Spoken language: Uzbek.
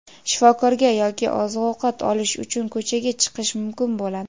shifokorga yoki oziq-ovqat olish uchun ko‘chaga chiqish mumkin bo‘ladi.